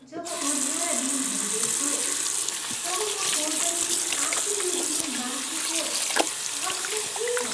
जब अँध्यारा दिनहरू देख्छु तब म सोच्दछु कि आखिर यो जीवन बाँच्नुको अर्थ नै के छ।